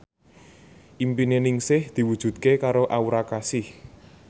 impine Ningsih diwujudke karo Aura Kasih